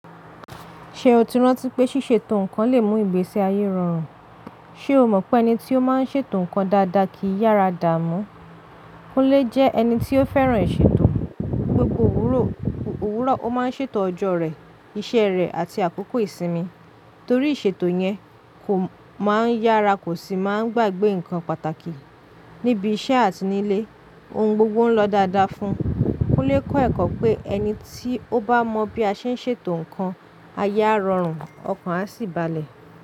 Ṣé o ti rántí pé ṣíṣètò nǹkan lè mú ìgbésí ayé rọrùn? Sé o mọ̀ pé ẹni tí ó máa ń ṣètò nǹkan dáadáa kì í yára dààmú? Kúnlé jẹ́ ẹni tí ó fẹ́ràn ìṣètò. Gbogbo òwúrọ̀, ó máa ń ṣètò ọjọ́ rẹ̀, iṣẹ́ rẹ̀ àti àkókò ìsinmi. Torí ìṣètò yẹn, kò máa ń yára kò sì máa ń gbàgbé nǹkan pàtàkì. Níbi iṣẹ́ àti nílé, ohun gbogbo ń lọ dáadáa fún un. Kúnlé kọ́ ẹ̀kọ́ pé ẹni tí ó bá mọ bí a ṣe ń ṣètò nǹkan, ayé á rọrùn, ọkàn á sì balẹ̀.